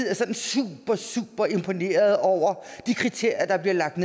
er sådan super super imponerede over de kriterier der bliver